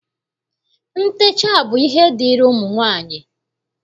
Ntecha bụ ihe dịịrị ụmụ nwaanyị